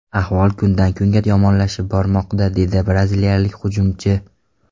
Ahvol kundan-kunga yomonlashib bormoqda”, dedi braziliyalik hujumchi.